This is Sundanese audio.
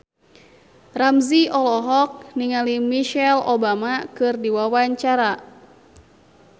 Ramzy olohok ningali Michelle Obama keur diwawancara